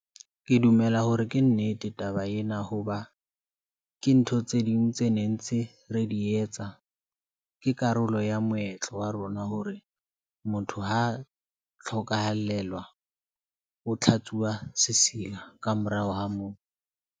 Ke dumela hore ke nnete taba ena hoba ke ntho tse ding tse ne ntse re di etsa. Ke karolo ya moetlo wa rona hore motho ha a tlhokahallelwa, o tlhatsuwa sesila ka morao ho moo.